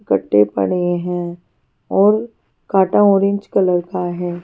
गट्टे पड़े हैं और कांटा ऑरेंज कलर का है।